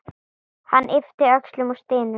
Hann ypptir öxlum og stynur.